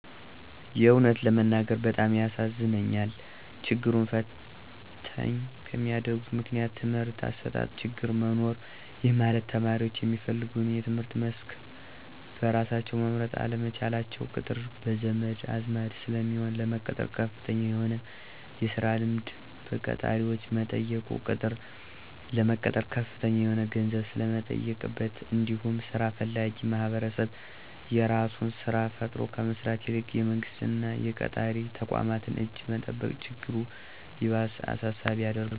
የእውነት ለመናገር በጣም ያሳዝነኛል። ችግሩን ፈተኝ ከሚያደርጉት ምክንያቶች:- የትምህርት አሰጣጥ ችግር መኖር:- ይህ ማለት ተማሪዎች የሚፈልገውን የትምህርት መስክ በራሳቸው መምረጥ አለመቻላቸው፤ ቅጥር በዘመድ አዝማድ ስለሚሆን፤ ለመቀጠር ከፍተኛ የሆነ የስራ ልምድ በቀጣሪዎች መጠየቁ፤ ቅጥር ለመቀጠር ከፍተኛ የሆነ ገንዘብ ስለሚጠየቅበት እንዲሁም ስራ ፈላጊዉ ማህበረሰብ የራሱን ስራ ፈጥሮ ከመስራት ይልቅ የመንግስት እና የቀጣሪ ተቋማትን እጅ መጠበቅ ችግሩ ይባስ አሳሳቢ ያደርገዋል።